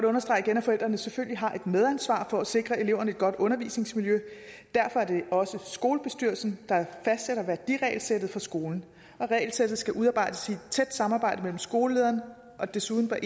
understrege at forældrene selvfølgelig har et medansvar for at sikre eleverne et godt undervisningsmiljø og derfor er det også skolebestyrelsen der fastsætter værdiregelsættet for skolen regelsættet skal udarbejdes i et tæt samarbejde med skolelederen og desuden bør